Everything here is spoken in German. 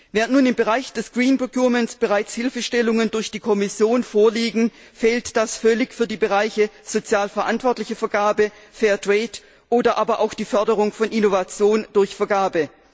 Während nun im Bereich des green procurement bereits Hilfestellungen durch die Kommission vorliegen, fehlt das völlig für die Bereiche sozial verantwortliche Vergabe, fair trade oder aber auch die Förderung von Innovation durch Vergabe.